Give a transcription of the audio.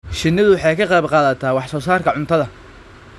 Shinnidu waxay ka qayb qaadataa wax soo saarka cuntada.